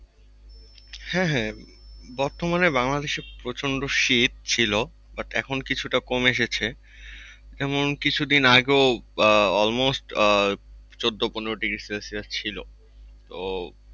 হ্যাঁ হ্যাঁ বর্তমানে বাংলাদেশে প্রচন্ড শীত ছিল but এখন কিছুটা কমে এসেছে। যেমন কিছুদিন আগে আহ almost আহ চোদ্দো-পনেরো degrees Celsius ছিল। তো